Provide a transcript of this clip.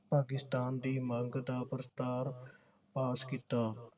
ਪਾਕਿਸਤਾਨ ਦੀ ਮੰਗ ਦਾ ਪ੍ਰਸਤਾਵ ਪਾਸ ਕੀਤਾ